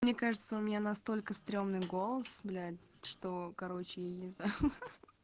мне кажется у меня настолько стремный голос блять что короче я не знаю ха ха